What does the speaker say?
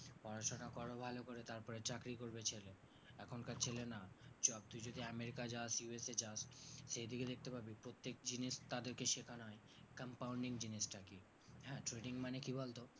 পড়াশোনা করো ভালোকরে তারপর চাকরি করবে ছেলে এখনকার ছেলে না চল ওই যদি আমেরিকা যাস USA যাস সেইদিকে দেখতে পাবি প্রত্যেক জিনিস তাদেরকে সেখান হয় compounding জিনিসটা কি হ্যাঁ trading মানে কি বলতো